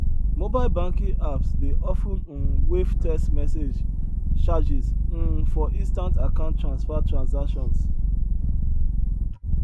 mobile banking apps dey of ten um waive test message charges um for instant account transfer transactions